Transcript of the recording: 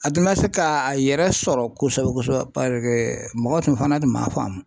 A tun ma se ka a yɛrɛ sɔrɔ ten kosɛbɛ kosɛbɛ mɔgɔw fana tun m'a faamu.